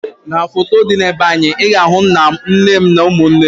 N'foto dị na be anyị, ị ga ahụ nna m, nne m na ụmụnne m